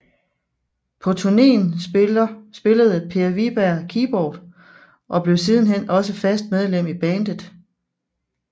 På turnéen spillede Per Wiberg keyboard og blev siden hen også fast medlem i bandet